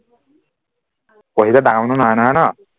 পঢ়িলে ডাঙৰ নহয় নহয় ন